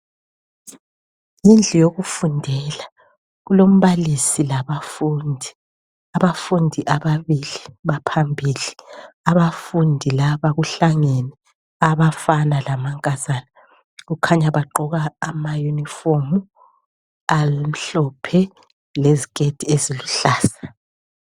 Indlu yokufundela, kulombalisi labafundi. Abafundi ababili baphambili, abafundi laba kuhlangene abafana lamankazana kukhanya bagqoka amayunifomu abe mhlophe leziketi eziluhlaza.